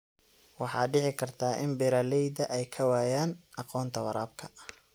Waxaa dhici karta in beeralayda ay ka waayaan aqoonta waraabka.